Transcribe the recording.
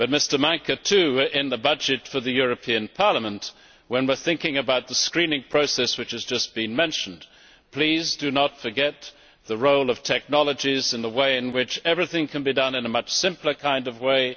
Mr Maňka, in the budget for the European Parliament, when we are thinking about the screening process which has just been mentioned, please do not forget the role of technologies and the way in which everything can be done in a much simpler way.